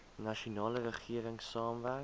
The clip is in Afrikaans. nasionale regering saamwerk